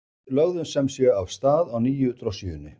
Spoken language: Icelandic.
Við lögðum sem sé af stað á nýju drossíunni.